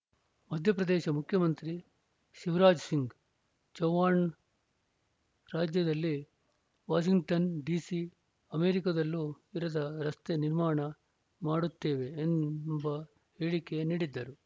ಮಧ್ಯಪ್ರದೇಶ ಮುಖ್ಯಮಂತ್ರಿ ಶಿವಾರಾಜ್‌ ಸಿಂಗ್‌ ಚೌಹಾಣ್‌ ರಾಜ್ಯದಲ್ಲಿ Washington DC ಅಮೆರಿಕದಲ್ಲೂ ಇರದ ರಸ್ತೆ ನಿರ್ಮಾಣ ಮಾಡುತ್ತೇವೆ ಎಂಬ ಹೇಳಿಕೆ ನೀಡಿದ್ದರು